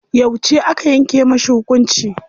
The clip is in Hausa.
Yauce aka yanke mashi hukunci?